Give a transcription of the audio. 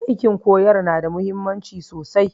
Aikin koyar na da mahimmanci sosai